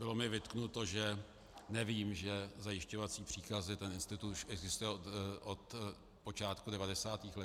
Bylo mi vytknuto, že nevím, že zajišťovací příkazy, ten institut už existuje od počátku 90. let.